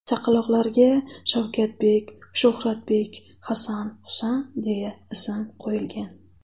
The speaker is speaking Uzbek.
Chaqaloqlarga Shavkatbek, Shuhratbek, Hasan, Husan deya ism qo‘yilgan.